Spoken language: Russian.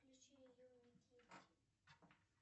включи юный китти